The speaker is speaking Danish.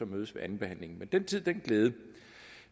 mødes ved andenbehandlingen men den tid den glæde